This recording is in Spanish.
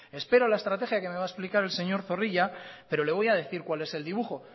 espero la estrategia que me va a explicar el señor zorrilla pero le voy a decir cuál es el dibujo